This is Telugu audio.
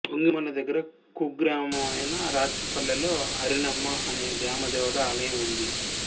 వొంగిమళ్ల దగ్గర కుగ్రామమైన రాచపల్లెలో అరిణమ్మ అనే గ్రామదేవత ఆలయం ఉంది